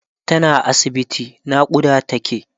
tana asibiti naƙuda take